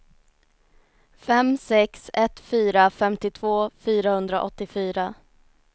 fem sex ett fyra femtiotvå fyrahundraåttiofyra